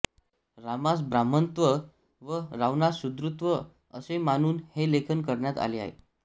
रामास ब्राह्मणत्व तर रावणास शूद्रत्व असे मानून हे लेखन करण्यात आले आहे